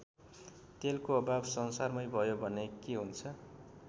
तेलको अभाव संसारमै भयो भने के हुन्छ?